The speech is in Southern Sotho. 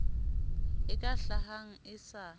e ka hlahang e sa